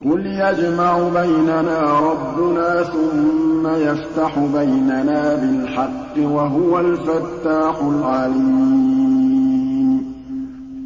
قُلْ يَجْمَعُ بَيْنَنَا رَبُّنَا ثُمَّ يَفْتَحُ بَيْنَنَا بِالْحَقِّ وَهُوَ الْفَتَّاحُ الْعَلِيمُ